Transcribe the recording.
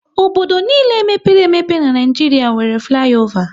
Obodo niile mepere emepe n'Naijiria nwéré fliova